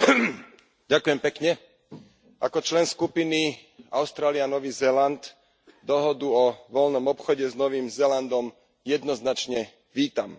Vážený pán predsedajúci, ako člen skupiny Austrália Nový Zéland dohodu o voľnom obchode s Novým Zélandom jednoznačne vítam.